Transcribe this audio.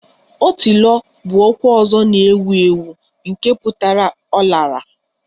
Otilo 'bụ okwu ọzọ na-ewu ewu nke pụtara 'ọ lara'